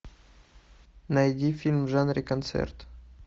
найди фильм в жанре концерт